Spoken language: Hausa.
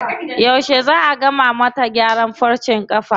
Yauce zaa a gama mata gyaran farcen ƙafan?